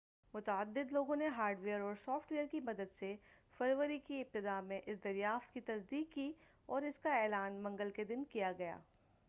متعدد لوگوں نے ہارڈ ویر اور سافٹ ویر کی مدد سے فروری کی ابتداء میں اس دریافت کی تصدیق کی اور اس کا اعلان منگل کے دن کیا گیا